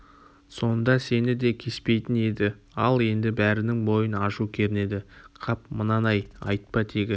сонда сені де кеспейтін еді ал енді бәрінің бойын ашу кернеді қап мынаны-ай айтпа тегі